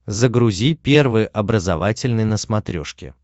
загрузи первый образовательный на смотрешке